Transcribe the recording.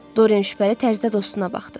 Doren şübhəli tərzdə dostuna baxdı.